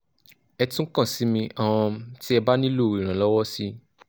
ẹ tún kàn sí mi um tí ẹ bá nílò ìrànlọ́wọ́ síi